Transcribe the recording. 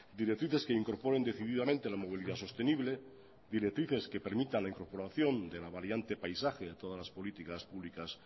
directrices que incorporen decididamente la movilidad sostenible directrices que permitan la incorporación de la variante paisaje en todas las políticas públicas